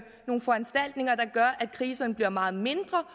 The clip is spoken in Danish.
nogle foranstaltninger der gør at kriserne bliver meget mindre